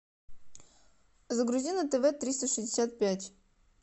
загрузи на тв триста шестьдесят пять